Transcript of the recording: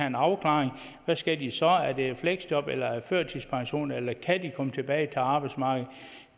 en afklaring og hvad skal de så skal have et fleksjob eller en førtidspension eller kan de komme tilbage til arbejdsmarkedet